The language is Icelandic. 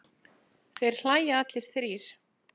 Þeir hlæja allir þrír.